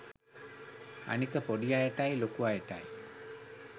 අනික පොඩි අයටයි ලොකු අයටයි